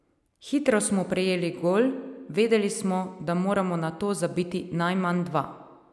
Hitro smo prejeli gol, vedeli smo, da moramo nato zabiti najmanj dva.